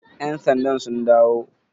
yansandan sun dawo?